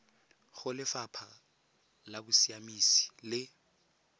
go lefapha la bosiamisi le